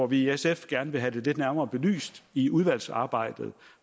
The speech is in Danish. vi i sf gerne vil have lidt nærmere belyst i udvalgsarbejdet